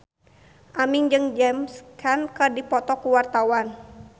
Aming jeung James Caan keur dipoto ku wartawan